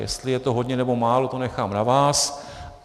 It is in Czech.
Jestli je to hodně, nebo málo, to nechám na vás.